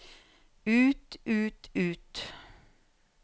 ut ut ut